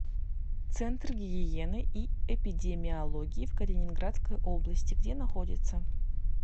центр гигиены и эпидемиологии в калининградской области где находится